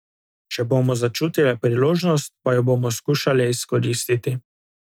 Če bomo začutile priložnost, pa jo bomo skušale izkoristiti.